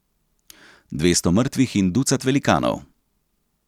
Dvesto mrtvih in ducat velikanov.